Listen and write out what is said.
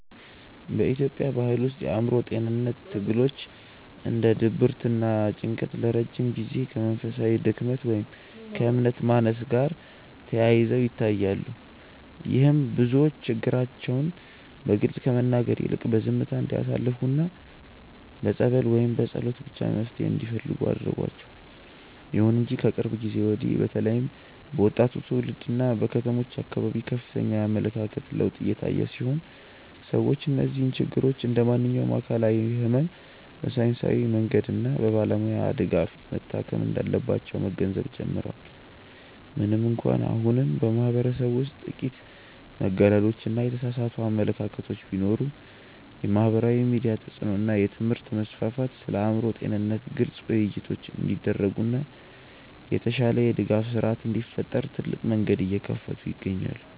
በኢትዮጵያ ባሕል ውስጥ የአእምሮ ጤንነት ትግሎች እንደ ድብርትና ጭንቀት ለረጅም ጊዜ ከመንፈሳዊ ድክመት ወይም ከእምነት ማነስ ጋር ተያይዘው ይታያሉ። ይህም ብዙዎች ችግራቸውን በግልጽ ከመናገር ይልቅ በዝምታ እንዲያሳልፉና በጸበል ወይም በጸሎት ብቻ መፍትሔ እንዲፈልጉ አድርጓቸዋል። ይሁን እንጂ ከቅርብ ጊዜ ወዲህ በተለይም በወጣቱ ትውልድና በከተሞች አካባቢ ከፍተኛ የአመለካከት ለውጥ እየታየ ሲሆን፣ ሰዎች እነዚህን ችግሮች እንደ ማንኛውም አካላዊ ሕመም በሳይንሳዊ መንገድና በባለሙያ ድጋፍ መታከም እንዳለባቸው መገንዘብ ጀምረዋል። ምንም እንኳን አሁንም በማኅበረሰቡ ውስጥ ጥቂት መገለሎችና የተሳሳቱ አመለካከቶች ቢኖሩም፣ የማኅበራዊ ሚዲያ ተጽዕኖ እና የትምህርት መስፋፋት ስለ አእምሮ ጤንነት ግልጽ ውይይቶች እንዲደረጉና የተሻለ የድጋፍ ሥርዓት እንዲፈጠር ትልቅ መንገድ እየከፈቱ ይገኛሉ።